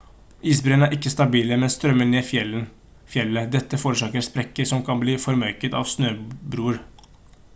isbreene er ikke stabile men strømmer ned fjellet dette forårsaker sprekker som kan bli formørket av snøbroer